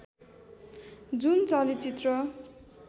जुन चलचित्र